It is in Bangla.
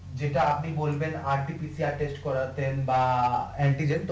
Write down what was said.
যেটা আপনি বলবেন করাচ্ছেন বা